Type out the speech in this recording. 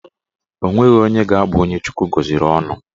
Onweghi onye ga-abụ onye Chukwu gọziri ọnụ